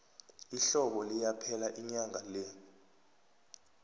ihlobo liyaphela inyanga le